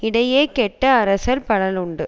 இடையே கெட்ட அரசர் பலருண்டு